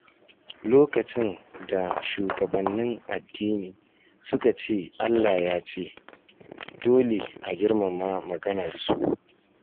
Lokacin da shugabannin addini suka ce "Allah ya ce", dole a girmama maganar su.